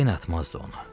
Yenə atmazdı onu.